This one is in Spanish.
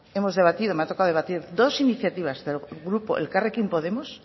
hemos debatido me ha tocado debatir dos iniciativas del grupo elkarrekin podemos